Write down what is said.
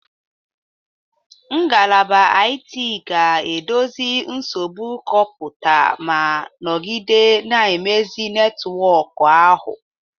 Ngalaba IT ga-edozi nsogbu kọmputa ma nọgide na-emezi netwọkụ ahụ.